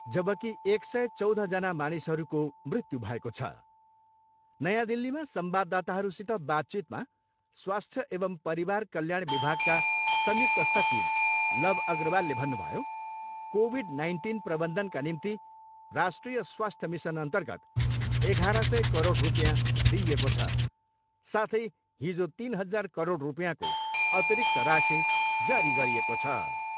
जबकि एक सय चौधजना मानिसहरूको मृत्यु भएको छ। नयाँ दिल्लीमा संवाददाताहरूसित बातचितमा स्वास्थ्य एवम् परिवार कल्याण विभागका संयुक्त सचिव लव अग्रवालले भन्नुभयो, कोभिड नाइन्टिन प्रबन्धनका निम्ति राष्ट्रिय स्वास्थ्य मिसनअन्तर्गत एघार सय करोड रुपियाँ दिइएको छ साथै हिजो तिन हजार करोड रुपियाँको अतिरिक्त राशि जारी गरिएको छ।